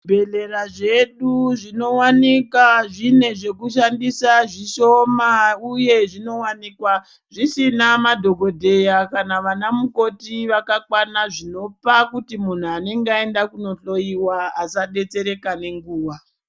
...bhehlera zvedu zvinowanika zvine zvekushandisa zvishoma uye zvinowanikwa zvisina madhokodheya kana vanamukoti vakakwana zvinopa kuti munhu anenge aenda kunohloyiwa asadetsereka nenguva.